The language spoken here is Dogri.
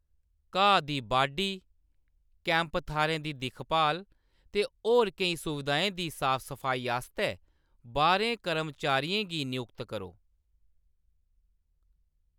घाऽ दी बाढी, कैंप थाह्‌रें दी दिक्ख भाल ते होर केईं सुविधाएं दी साफ सफाई आस्तै बारें कर्मचारियें गी नयुक्त करो।